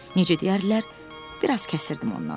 Necə deyərlər, biraz kəsirdim ondan.